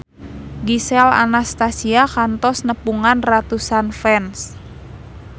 Gisel Anastasia kantos nepungan ratusan fans